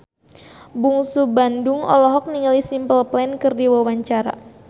Bungsu Bandung olohok ningali Simple Plan keur diwawancara